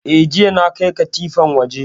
Eh, jiya na kai katifan waje